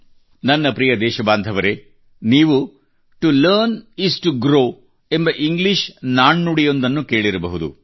ನನ್ನ ಪ್ರಿಯ ದೇಶಬಾಂಧವರೆ ನೀವು to learn is to grow ಎಂಬ ಇಂಗ್ಲೀಷ್ ನಾನ್ನುಡಿಯೊಂದನ್ನು ಕೇಳಿರಬಹುದು